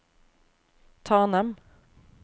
Tanem